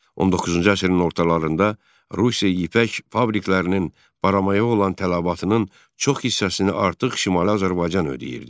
19-cu əsrin ortalarında Rusiya ipək fabriklərinin baramaya olan tələbatının çox hissəsini artıq Şimali Azərbaycan ödəyirdi.